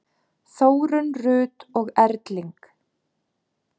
Þórunn Rut og Erling.